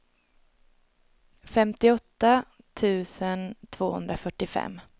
femtioåtta tusen tvåhundrafyrtiofem